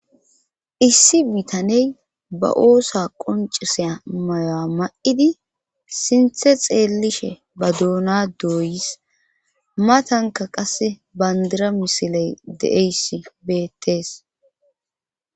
issi bitaney ba oosa qoncisea mayoya ma7idi sinthe xeellishe ba duuna dooyis matanka qas bandira misiley de7eyssi beettees